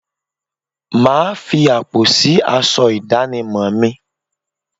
Máa fi àpò sì aṣọ ìdánimọ̀ mi